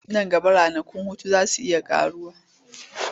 Nan gaba ranakun hutu za su iya ƙaruwa.